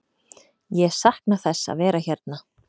Ég sakna þess að vera hérna.